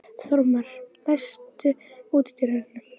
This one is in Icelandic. Þórmar, læstu útidyrunum.